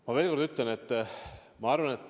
Ma veel kord ütlen, et seda ma arvan.